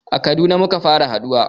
A Kaduna muka fara haɗuwa